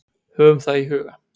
Höfum það í huga.